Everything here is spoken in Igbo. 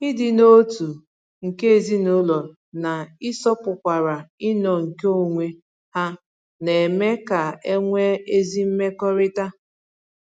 Ịdị n'otu nke ezinụlọ na-ịsọpụkwara ịnọ nke onwe ha na-eme ka e nwee ezi mmekọrịta.